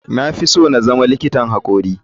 Na fi so na zama likitan hakori.